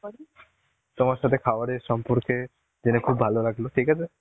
তোমার সাথে খাবার এর সম্পর্কে জেনে খুব ভালো লাগলো, ঠিকআছে.